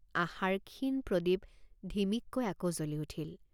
আশাৰ ক্ষীণ প্ৰদীপ ধিমিক্কৈ আকৌ জ্বলি উঠিল।